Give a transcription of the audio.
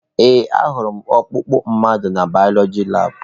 Ee, ahụrụ m ọkpụkpụ mmadụ na bayoloji labụ.